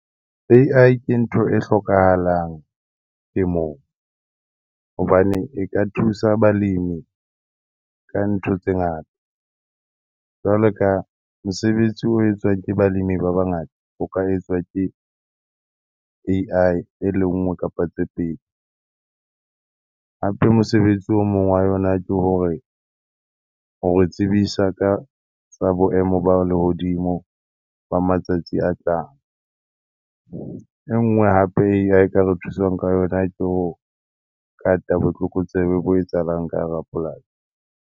A_I ke ntho e hlokahalang ke moo hobane e ka thusa balimi ka ntho tse ngata. Jwalo ka mosebetsi o etswang ke balemi ba bangata, o ka etswa ke A_I e le nngwe kapa tse pedi. Hape mosebetsi o mong wa yona ke hore o re tsebisa ka tsa boemo ba lehodimo ba matsatsi a tlang. E nngwe hape A_I e ka re thusang ka yona ke ho kata botlokotsebe bo etsahalang ka hara polasi.